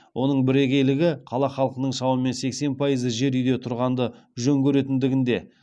оның бірегейлігі қала халқының шамамен сексен пайызы жер үйде тұрғанды жөн көретіндігінде